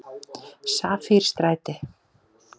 Safírstræti